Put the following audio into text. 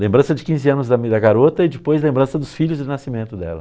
Lembrança de quinze anos da garota e depois lembrança dos filhos de nascimento dela.